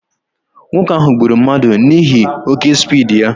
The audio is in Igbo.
Nwoke ahụ gburu mmadụ n'ihi oké spiidi ya